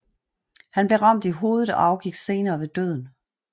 Han blev ramt i hovedet og afgik senere ved døden